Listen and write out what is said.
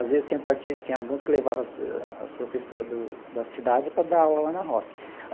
Às vezes tinha partido tinha alguns que levava as professoras do da cidade para dar aula lá na roça.